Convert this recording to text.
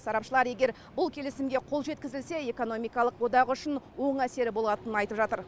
сарапшылар егер бұл келісімге қол жеткізілсе экономикалық одақ үшін оң әсері болатынын айтып жатыр